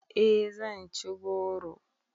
E zan ci goro